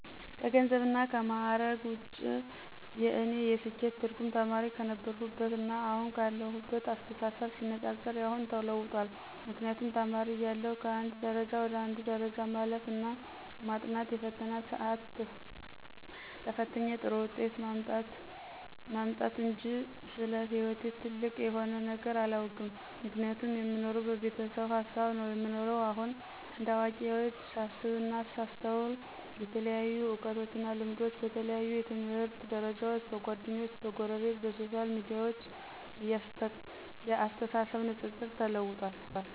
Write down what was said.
ከገንዘብና ከምዕረግ ውጭ የእኔ የስኬት ትርጉም ተማሪ ክነበርሁትና አሁን ካለሁት አስተሳሰብ ሲነፃፀር የአሁኑ ተለውጧል ምክንያቱም ተማሪ እያለሁ ከአንድ ደረጃ ወደ አንዱ ደረጃ ማለፍ እና ማጥናት የፈተና ስአትን ተፍትኝ ጥሩ ውጤት ማምጣትጅ ስለ ሕይወቴ ጥልቅ የሆነ ነገር አላውቅም ምክንያቱም የምኖረው በቤተሰብ ሀሳብ ነው የምኖረው። አሁን እንደ አዋቂዎች ሳስብና ሳስተውል የተለያዩ እውቀቶችና ልምዶች በተለያዩ የትምህርት ደርጃዎች፣ በጓደኞቸ፣ በጎረቤት፣ በሶሻል ሚዲያዎች የአስተሳሰብ ንጽጽር ተለውጧል።